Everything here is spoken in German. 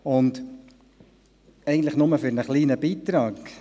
Und dies eigentlich nur für einen kleinen Beitrag.